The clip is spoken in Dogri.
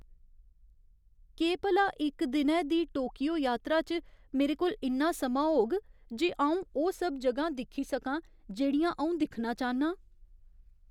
केह् भला इक दिनै दी टोकियो यात्रा च मेरे कोल इन्ना समां होग जे अ'ऊं ओह् सब ज'गां दिक्खी सकां जेह्ड़ियां अ'ऊं दिक्खना चाह्न्नां ?